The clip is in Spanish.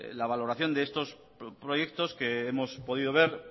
la valoración de estos proyectos que hemos podido ver